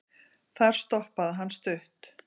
Þar stoppaði hann stutt.